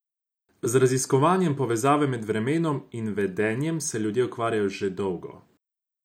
Z raziskovanjem povezave med vremenom in vedenjem se ljudje ukvarjajo že dolgo.